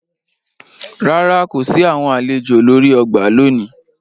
Ràrá, ko si awọn alejò lori ọgbà lóni